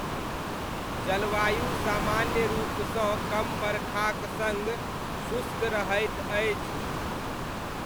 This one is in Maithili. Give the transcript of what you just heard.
जलवायु सामान्य रूपसँ कम बरखाक सङ्ग शुष्क रहैत अछि।